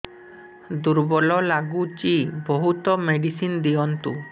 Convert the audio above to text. ଦୁର୍ବଳ ଲାଗୁଚି ବହୁତ ମେଡିସିନ ଦିଅନ୍ତୁ